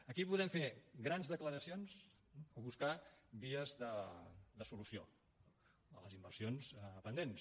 aquí podem fer grans declaracions o buscar vies de solució a les inversions pendents